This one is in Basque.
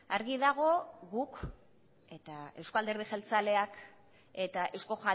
argi dago guk eta euzko alderdi jeltzaleak eta euzko